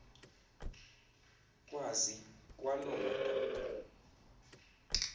kwazi kwaloo madoda